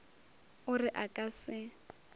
o re a ka se